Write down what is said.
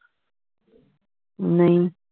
ਨਹੀਂ